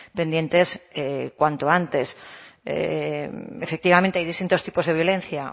pendientes cuanto antes efectivamente hay distintos tipos de violencia